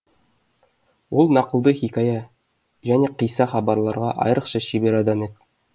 ол нақылды хикая және қисса хабарларға айрықша шебер адам еді